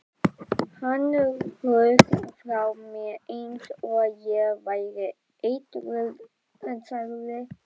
Hann hrökk frá mér eins og ég væri eitruð sagði